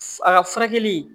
A ka furakɛli